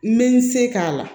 N bɛ n se k'a la